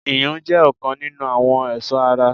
iyùn jẹ́ ọ̀kan nínu àwọn ẹ̀sọ́ ara.